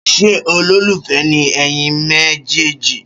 Ṣé ọlolufe ni ẹyin me je ji